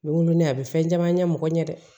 N bɛ wolo ne a bɛ fɛn caman ɲɛ mɔgɔ ɲɛ dɛ